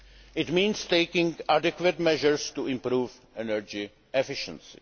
It means taking adequate measures to improve energy efficiency.